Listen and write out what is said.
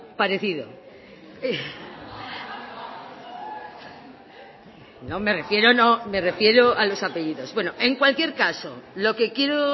parecido no me refiero no me refiero a los apellidos bueno en cualquier caso lo que quiero